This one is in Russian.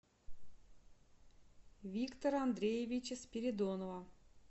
виктора андреевича спиридонова